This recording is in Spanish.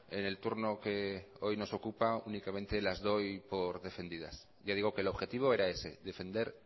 en el turno que hoy nos ocupa únicamente las doy por defendidas ya digo que el objetivo era ese defender